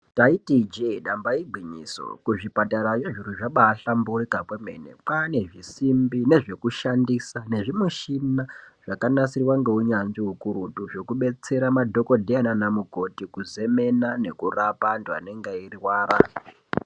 Taiti ijee damba igwinyiso kuzvipatarayo zviro zvabaahlamburuka kwemene kwaane zvisimbi nezvekushandisa nezvimushina zvakabaanasirwa ngeunyanzvi hukurutu zvekudetsera madhokodheya nanamukoti kuzemena nekurapa anthu anenge eirwara.